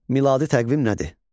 Miladi təqvim nədir?